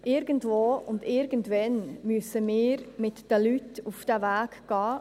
Irgendwo und irgendwann müssen wir uns mit diesen Leuten auf diesen Weg begeben.